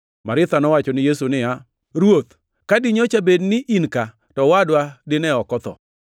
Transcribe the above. Maritha nowacho ni Yesu niya, “Ruoth, ka dinyocha bed ni in ka, to owadwa dine ok otho.